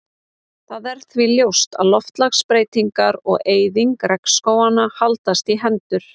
Það er því ljóst að loftslagsbreytingar og eyðing regnskóganna haldast í hendur.